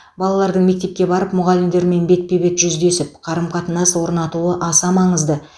балалардың мектепке барып мұғалімдермен бетпе бет жүздесіп қарым қатынас орнатуы аса маңызды